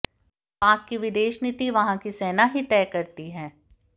पाक की विदेश नीति वहां की सेना ही तय करती है